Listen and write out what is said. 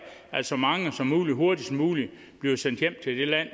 at så mange som muligt hurtigst muligt bliver sendt hjem til det land